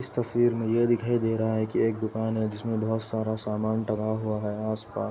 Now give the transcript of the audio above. इस तस्वीर में यह दिखाई दे रहा है कि एक दुकान है जिसमे बहोत सारा सामान डला हुआ है आसपास --